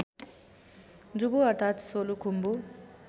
जुबु अर्थात् सोलु खुम्बु